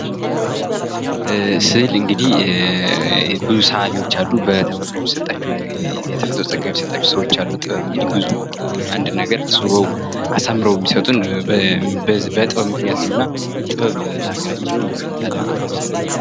ስዕል እንግዲህ ብዙ ሰአሊዎች በተፈጥሮ የሚሰጣቸው ሰዎች አሉ ጥበብ እንግዲህ አንድ ነገር አስውበው አሳምረው የሚሰጡን በጥበብ ምክንያት ነውና ጥበብ ለሃገራችንን ላለም በጣም አስፈላጊ ነገር ነው።